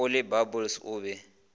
o le bubbles o be